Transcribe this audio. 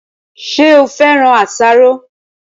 Ṣé o féràn àsáró